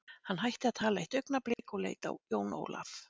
Hann hætti að tala eitt augnablik og leit á Jón Ólaf.